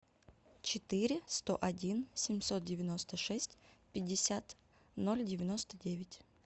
четыре сто один семьсот девяносто шесть пятьдесят ноль девяносто девять